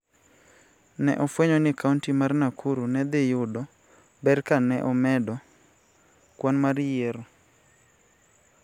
Ne ofwenyo ni kaonti mar Nakuru ne dhi yudo ber ka ne omedo kwan mar yiero.